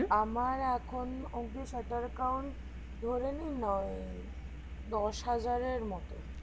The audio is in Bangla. আমার এখন অব্দি shutter count ধরে নিন নয় দশ হাজারের মতো